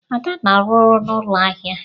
Ada na-arụ ọrụ n'ụlọ ahịa.